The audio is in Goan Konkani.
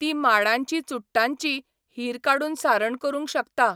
ती माडांची चुडटांची, हीर काडून सारण करूंक शकता.